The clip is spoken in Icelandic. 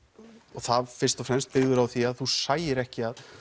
og það fyrst og fremst byggðiru á því að þú sæir ekki að